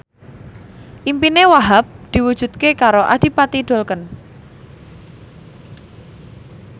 impine Wahhab diwujudke karo Adipati Dolken